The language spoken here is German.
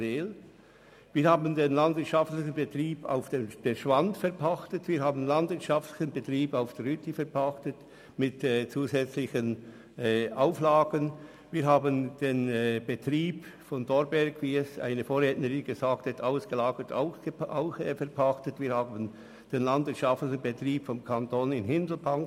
Zudem hat er den landwirtschaftlichen Betrieb auf der Schwand und denjenigen auf der Rüti mit zusätzlichen Auflagen verpachtet, ebenso diejenigen der Justizvollzugsanstalten Thorberg und Hindelbank.